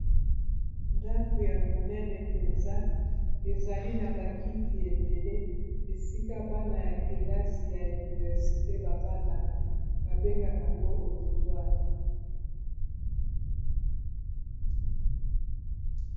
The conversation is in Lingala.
Ndako ya monene mpenza ezali na bakiti ebele esika bana ya kelasi ya universite bafandaka babengaka yango auditoire.